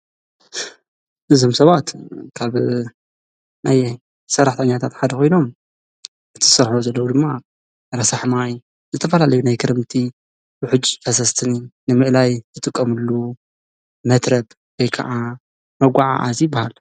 ንዞም ሰባት ካብ ናየይ ሠራሕተኛታትሓደ ኾይኖም እቲ ዝሠረሕዎ ዘለዉ ድማ ረሳሕማይ ዝተፋላለዩ ናይ ክረምቲ ውሑጅ ኣሰስትኒ ንምእላይ ዘጥቐምሉ መትረብ ወይከዓ መጐዓዐዚ ይበሃል።